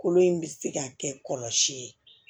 Kolo in bɛ se ka kɛ kɔlɔsi ye